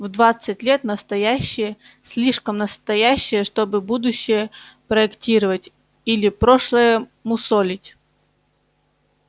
в двадцать лет настоящее слишком настоящее чтобы будущее проектировать или прошлое мусолить